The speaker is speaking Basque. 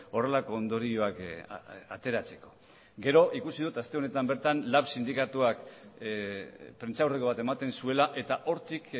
horrelako ondorioak ateratzeko gero ikusi dut aste honetan bertan lab sindikatuak prentsaurreko bat ematen zuela eta hortik